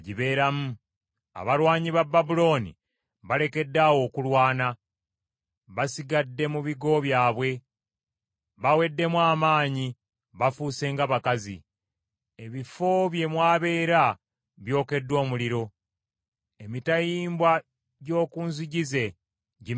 Abalwanyi ba Babulooni balekedde awo okulwana; basigadde mu bigo byabwe. Baweddemu amaanyi; bafuuse nga bakazi. Ebifo bye mw’abeera byokeddwa omuliro; emitayimbwa gy’oku nzigi ze gimenyeddwa.